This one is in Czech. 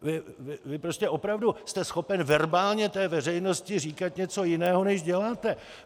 Vy prostě opravdu jste schopen verbálně té veřejnosti říkat něco jiného než děláte!